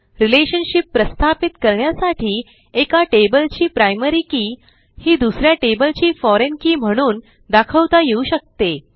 relationship प्रस्थापित करण्यासाठी एका tableची प्रायमरी के ही दुस या tableची फोरिग्न के म्हणून दाखवता येऊ शकते